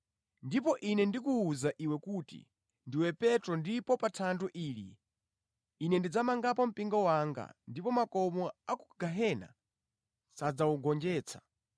Ndipo Ine ndikuwuza iwe kuti ndiwe Petro ndipo pa thanthwe ili Ine ndidzamangapo mpingo wanga ndipo makomo a ku gehena sadzawugonjetsa.